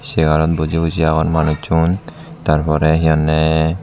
segarot buji buji agon manucchun tar porey he honney.